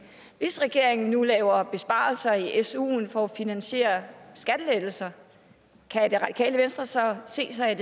hvis regeringen nu laver besparelser i i suen for at finansiere skattelettelser kan radikale venstre så se sig